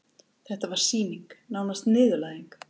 Þetta var sýning, nánast niðurlæging.